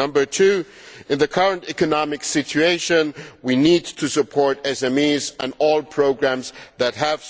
Number two, in the current economic situation we need to support SMEs and all programmes that have